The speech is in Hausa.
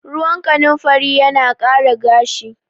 Ruwan kanimfari yana ƙara gashi